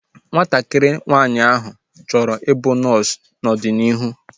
Nwatakịrị nwaanyị áhụ̀ chọrọ i bụ nọọsu n'ọdịnihu